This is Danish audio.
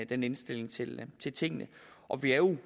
den indstilling til til tingene og vi er jo